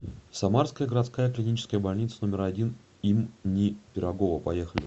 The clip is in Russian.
самарская городская клиническая больница номер один им ни пирогова поехали